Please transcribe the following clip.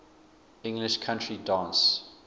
english country dance